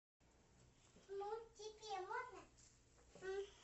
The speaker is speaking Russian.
ну теперь можно